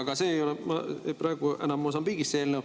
Aga see eelnõu ei ole praegu Mosambiigist.